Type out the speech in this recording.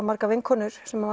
margar vinkonur sem